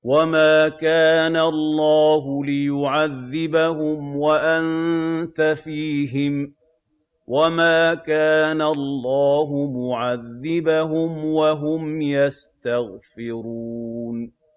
وَمَا كَانَ اللَّهُ لِيُعَذِّبَهُمْ وَأَنتَ فِيهِمْ ۚ وَمَا كَانَ اللَّهُ مُعَذِّبَهُمْ وَهُمْ يَسْتَغْفِرُونَ